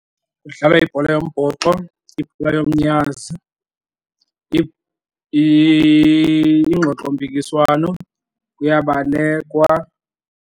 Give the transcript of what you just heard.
Kudlalwa ibhola yombhoxo, ibhola yomnyazi, ingxoxompikiswano, kuyabalekwa.